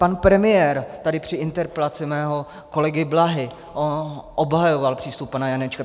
Pan premiér tady při interpelaci mého kolegy Blahy obhajoval přístup pana Janečka.